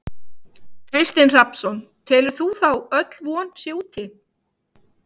Kristinn Hrafnsson: Telur þú þá öll von sé úti?